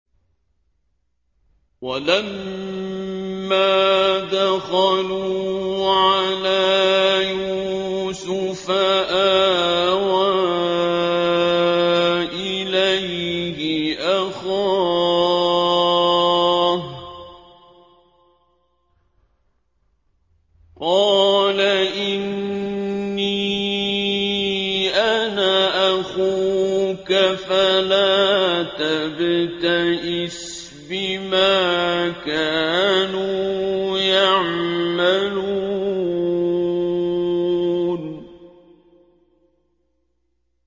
وَلَمَّا دَخَلُوا عَلَىٰ يُوسُفَ آوَىٰ إِلَيْهِ أَخَاهُ ۖ قَالَ إِنِّي أَنَا أَخُوكَ فَلَا تَبْتَئِسْ بِمَا كَانُوا يَعْمَلُونَ